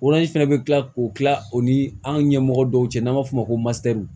fɛnɛ bɛ kila k'o kila o ni an ɲɛmɔgɔ dɔw cɛ n'an b'a fɔ o ma ko